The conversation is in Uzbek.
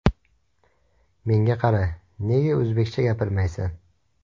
Menga qara, nega o‘zbekcha gapirmaysan?